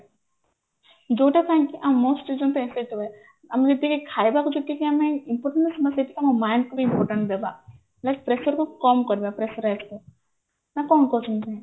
ଯୋଉଟା ପାଇଁକି ଆଉ most ଆମେ ଯେତିକି ଖାଇବାକୁ ଯେତିକି ଆମେ ଆମେ ସେତିକି ବ୍ୟାୟାମ କୁ ବି important ଦେବା pressure କୁ କମ କରିବା pressure କୁ ନା କଣ କହୁଛନ୍ତି ଭାଇ